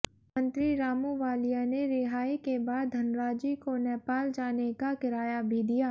मंत्री रामूवालिया ने रिहाई के बाद धनराजी को नेपाल जाने का किराया भी दिया